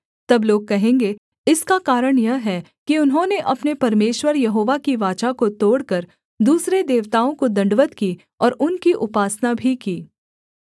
तब लोग कहेंगे इसका कारण यह है कि उन्होंने अपने परमेश्वर यहोवा की वाचा को तोड़कर दूसरे देवताओं को दण्डवत् की और उनकी उपासना भी की